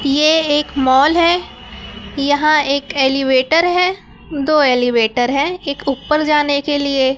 ये एक मॉल है यहाँ एक एलीवेटर है दो एलीवेटर है एक ऊपर जाने के लिए --